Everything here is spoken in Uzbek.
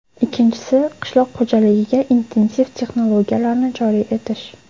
Ikkinchisi, qishloq xo‘jaligiga intensiv texnologiyalarni joriy etish.